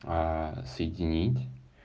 соединить